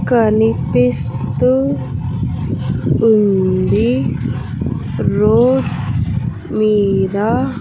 కనిపిస్తూ ఉంది రోడ్ మీద.